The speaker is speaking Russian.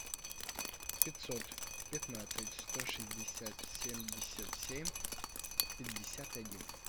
пятьсот пятнадцать сто шестьдесят семьдесят семь пятьдесят один